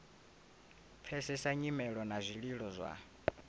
pfesesa nyimelo na zwililo zwa